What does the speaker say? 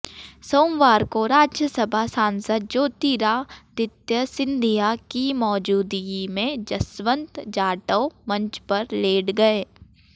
सोमवार को राज्यसभा सांसद ज्योतिरादित्य सिंधिया की मौजूदगी में जसवंत जाटव मंच पर लेट गए